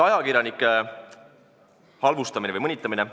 Ajakirjanike halvustamine või mõnitamine.